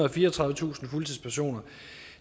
og fireogtredivetusind fuldtidspersoner